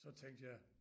Så tænkte jeg